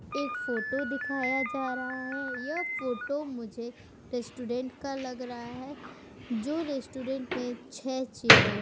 एक फोटो दिखाया जा रहा है। यह फोटो मुझे रेस्टोरेंट का लग रहा है जो रेस्टोरेंट में छे चेयर --